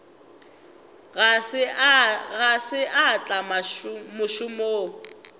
ga se a tla mošomong